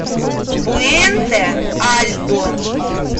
пуэнте альто